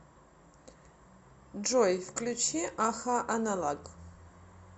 джой включи а ха аналог